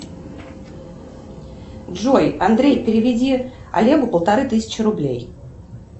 джой андрей переведи олегу полторы тысячи рублей